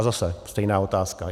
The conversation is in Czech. A zase stejná otázka.